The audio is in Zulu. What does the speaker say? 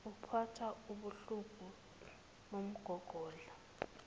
uphathwe wubuhlungu bomgogodla